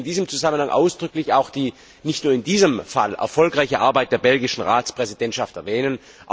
Ich möchte in diesem Zusammenhang ausdrücklich auch die nicht nur in diesem Fall erfolgreiche Arbeit der belgischen Ratspräsidentschaft erwähnen.